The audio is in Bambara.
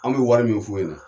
Anw bɛ wari min f'u ɲɛna.